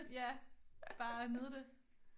Ja bare nyde det